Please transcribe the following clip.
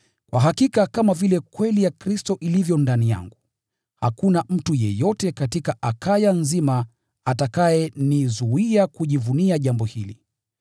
Kwa hakika kama vile kweli ya Kristo ilivyo ndani yangu, hakuna mtu yeyote katika Akaya nzima atakayenizuia kujivunia jambo hili.